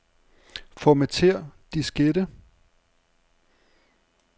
Formatér diskette.